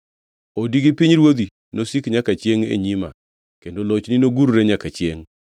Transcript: Odi gi pinyruodhi nosik nyaka chiengʼ e nyima kendo lochni nogurre nyaka chiengʼ.’ ”